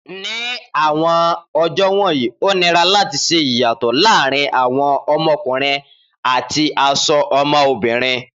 Ni awọn ọjọ wọnyi, o nira lati ṣe iyatọ laarin awọn ọmọkunrin ati aṣọ ọmọbirin